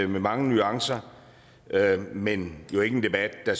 med mange nuancer men jo ikke en debat der